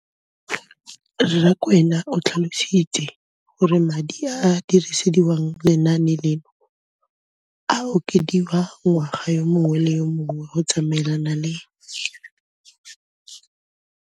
Rakwena o tlhalositse gore madi a a dirisediwang lenaane leno a okediwa ngwaga yo mongwe le yo mongwe go tsamaelana le.